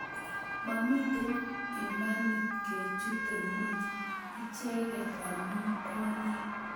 Momitei imanit kechute ngweny icheget amu kwonyik